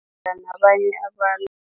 abanye abantu.